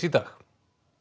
í dag